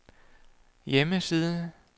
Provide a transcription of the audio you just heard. hjemmeside